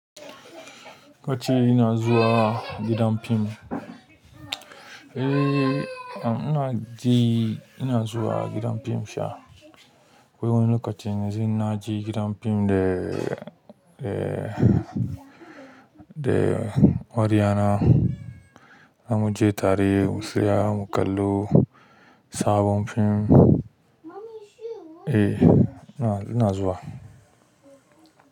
Lokaci ina zuwa gidan fim, eh ina je ina zuwa gidan fim sha. Wani lokaci na je gidan fim da, da, da wuri zamuje tare mutsaya mu kallo sabon film. Eh ina, ina zuwa.